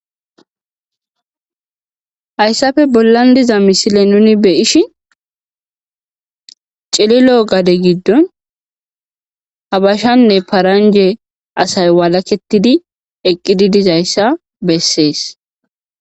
Hayssafe bollan diza misile nuni beyish cililo gade giddon habashanne paranje asay walaketidi eqqidi dizayssa bessees.